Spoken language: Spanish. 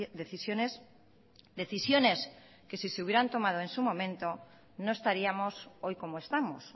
decisiones decisiones que si se hubieran tomado en su momento no estaríamos hoy como estamos